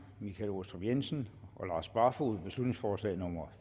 michael aastrup jensen og lars barfoed beslutningsforslag nummer